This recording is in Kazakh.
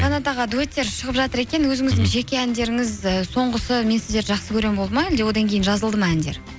қанат аға дуэттер шығып жатыр екен өзіңіздің жеке әндеріңіз і соңғысы мен сізерді жақсы көремін болды ма әлде одан кейін жазылды ма әндер